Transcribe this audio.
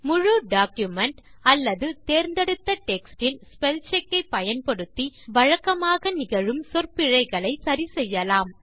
முழு டாக்குமென்ட் தேர்ந்தெடுத்த டெக்ஸ்ட் இல் ஸ்பெல்செக் ஐ பயன்படுத்தி வழக்கமாக நிகழும் சொற்பிழைகளை சரி செய்யலாம்